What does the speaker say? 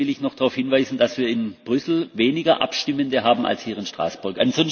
Im Übrigen will ich noch darauf hinweisen, dass wir in Brüssel weniger Abstimmende haben als hier in Straßburg.